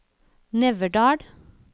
Neverdal